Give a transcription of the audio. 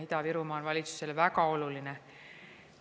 Ida-Virumaa on valitsusele väga oluline.